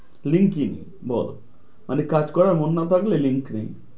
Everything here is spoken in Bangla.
Link ই বল মানে কাজ করার মন না থাকলে link নেই।